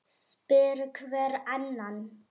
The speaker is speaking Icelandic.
spyr hver annan.